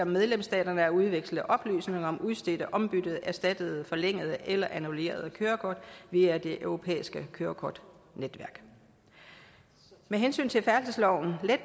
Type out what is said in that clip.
medlemsstaterne at udveksle oplysninger om udstedte ombyttede erstattede forlængede eller annullerede kørekort via det europæiske kørekortnetværk med hensyn til færdselsloven vil